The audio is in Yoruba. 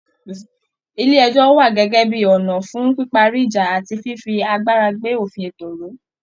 Ilé ẹjọ́ wà gẹ́gẹ́ bí ọ̀nà fún píparí ìjà àti fífi agbára gbé òfin ẹ̀tọ́ ró